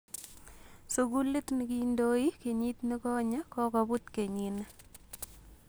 Sugulit nikindoe kenyit nigonye kokoput kenyini